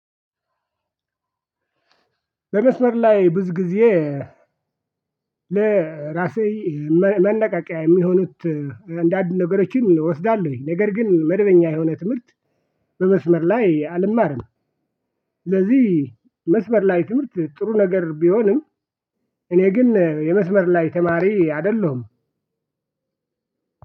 በመስመር ላይ ብዙ ጊዜ ለራሴ መነቃቂያ የሚሆኑት እንደ አንድ ነገሮችን እወስዳለሁኝ። ነገር ግን መደበኛ የሆነ ትምህርት በመስመር ላይ አልማርም። ለዚህ መስመር ላይ ትምህርት ጥሩ ነገር ቢሆንም። እኔ ግን የመስመር ላይ ተማሪ አይደለሁም።